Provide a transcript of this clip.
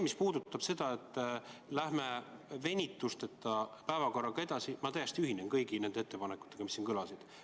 Mis puudutab seda, et läheme venituseta päevakorraga edasi, siis ma täiesti ühinen kõigi nende ettepanekutega, mis siin kõlasid.